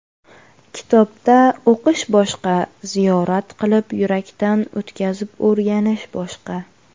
Kitobda o‘qish boshqa, ziyorat qilib, yurakdan o‘tkazib o‘rganish boshqa.